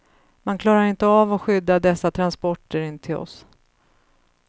Man klarar inte av att skydda dessa transporter in till oss.